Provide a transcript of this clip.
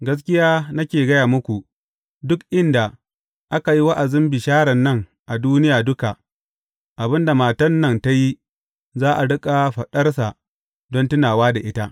Gaskiya nake gaya muku, duk inda aka yi wa’azin bisharan nan a duniya duka, abin da matan nan ta yi, za a riƙa faɗarsa don tunawa da ita.